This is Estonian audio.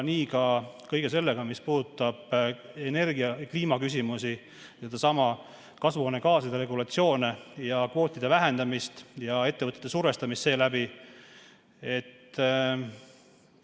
Nii on ka kõige sellega, mis puudutab energia‑ ja kliimaküsimusi, kasvuhoonegaaside regulatsioone ja kvootide vähendamist ning ettevõtete sellega survestamist.